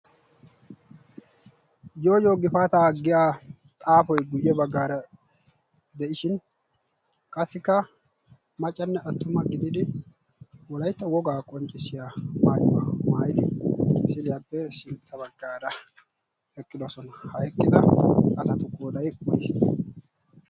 yooyiyo gifaataa aggiya xaafoy guyye baggaara de'ishin qassikka macanne attuma gididi wolaytto wogaa qonccissiya maayuwaa maaidi isiliyaappe sintta baggaara heqqidosona haiqqida atatu?